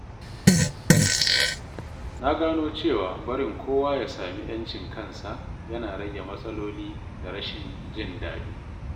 Na gano cewa barin kowa ya sami ƴancin kansa yana rage matsaloli da rashin jin daɗi.